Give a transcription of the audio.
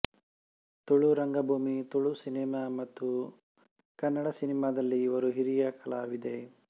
ತುಳು ರಂಗಭೂಮಿ ತುಳು ಸಿನೆಮಾ ಮತ್ತು ಕನ್ನಡ ಸಿನೆಮಾದಲ್ಲಿ ಇವರು ಹಿರಿಯ ಕಲಾವಿದೆ